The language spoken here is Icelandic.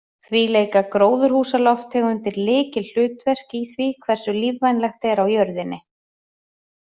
Því leika gróðurhúsalofttegundir lykilhlutverk í því hversu lífvænlegt er á jörðinni.